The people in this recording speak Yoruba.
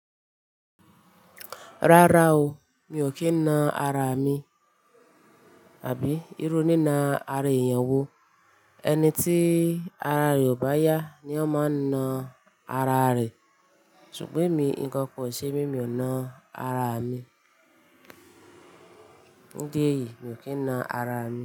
Rárá o, mi ò kí ń na ara mi àbí irú ní na ara èèyàn wo? Ẹni tí ara rẹ ò bá yá ni ọ máa ń na ara rè. Ṣùgbọ́n èmi nǹkankan ò ṣe mí, mi ò na ara mi. Fundi eyìí mi ò kí ń na ara mi.